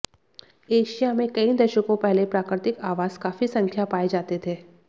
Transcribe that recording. Asia में कई दशकों पहले प्राकृतिक आवास काफी संख्या पाये जाते थे